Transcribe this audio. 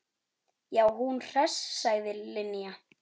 Já, hún hress sagði Linja.